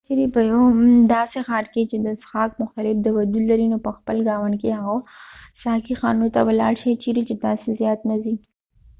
که چیرې په یو داسې ښار کې چې د څښاک مختلف دود لري نو په خپل ګاونډ کې هغو ساقی خانو ته ولاړ شئ چیرې چې تاسې زیات نه ځئ